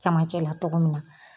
Camancɛla togo min na.